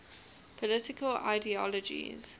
political ideologies